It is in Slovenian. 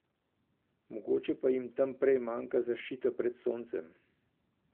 Mogoče pa jim tam prej manjka zaščita pred soncem.